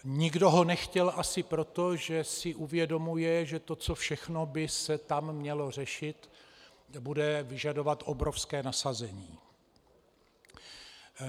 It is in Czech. Nikdo ho nechtěl asi proto, že si uvědomuje, že to, co všechno by se tam mělo řešit, bude vyžadovat obrovské nasazení.